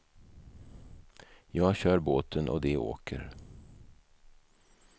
Jag kör båten och de åker.